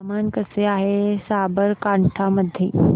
हवामान कसे आहे साबरकांठा मध्ये